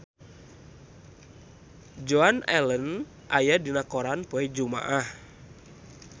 Joan Allen aya dina koran poe Jumaah